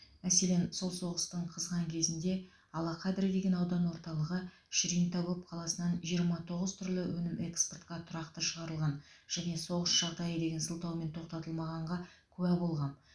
мәселен сол соғыстың қызған кезінде алақадри деген аудан орталығы шринтагоб қаласынан жиырма тоғыз түрлі өнім экспортқа тұрақты шығарылған және соғыс жағдайы деген сылтаумен тоқтатылмағанға куә болғам